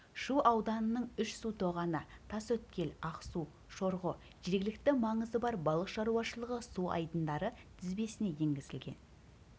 шу ауданының үш су тоғаны тасөткел ақсу шорғо жергілікті маңызы бар балық шаруашылығы су айдындары тізбесіне еңгізілген